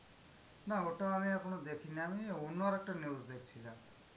না ওটা আমি এখনো দেখিনি. আমি অন্য আর একটা news দেখছিলাম.